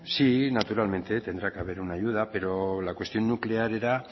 sí naturalmente tendrá que haber una ayuda pero la cuestión nuclear era